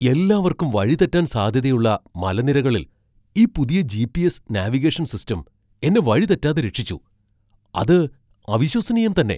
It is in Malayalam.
എല്ലാവർക്കും വഴി തെറ്റാൻ സാധ്യതയുള്ള മലനിരകളിൽ ഈ പുതിയ ജി.പി.എസ്. നാവിഗേഷൻ സിസ്റ്റം എന്നെ വഴി തെറ്റാതെ രക്ഷിച്ചു . അത് അവിശ്വസനീയം തന്നെ !